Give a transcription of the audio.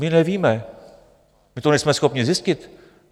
My nevíme, my to nejsme schopni zjistit.